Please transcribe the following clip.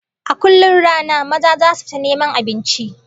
A kullum rana maza zasu fita neman abinci